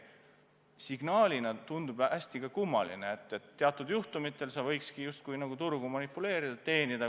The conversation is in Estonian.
Signaalina tundub ka hästi kummaline, et teatud juhtumitel sa just nagu võidki turgu manipuleerida ja selle abil teenida.